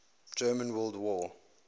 german world war